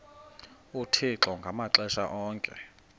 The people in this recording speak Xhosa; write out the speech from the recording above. uthixo ngamaxesha onke